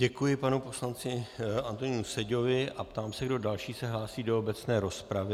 Děkuji panu poslanci Antonínu Seďovi a ptám se, kdo další se hlásí do obecné rozpravy.